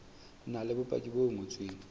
na le bopaki bo ngotsweng